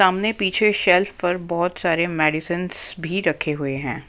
सामने पीछे शेल्फ पर बहुत सारे मेडिसनस भी रखे हुए हैं।